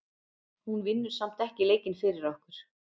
Hún vinnur samt ekki leikinn fyrir okkur.